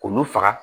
K'olu faga